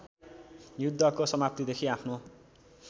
युद्धको समाप्तिदेखि आफ्नो